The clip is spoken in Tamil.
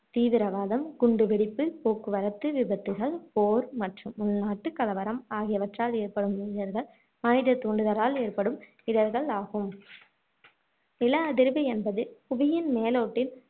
தீவிரவாதம், குண்டு வெடிப்பு, போக்குவரத்து விபத்துகள், போர் மற்றும் உள்நாட்டுக் கலவரம் ஆகியவற்றால் ஏற்படும் இடர்கள் மனித தூண்டுதலால் ஏற்படும் இடர்கள் ஆகும் நில அதிர்வு என்பது புவியின் மேலோட்டில்